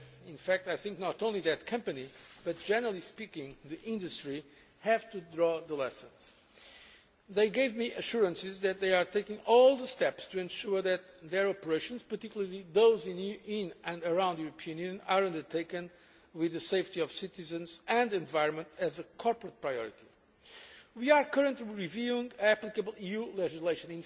catastrophe. In fact, I think that not only that company but, generally speaking, the industry, have to draw lessons from it. They gave me assurances that they are taking all the necessary steps to ensure that their operations, particularly those in and around the European Union, are undertaken with the safety of citizens and the environment as a corporate priority. We are currently reviewing applicable